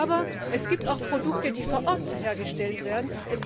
Aber es gibt auch Produkte, die vor Ort hergestellt werden.